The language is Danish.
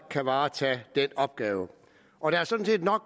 kan varetage den opgave og der er sådan set nok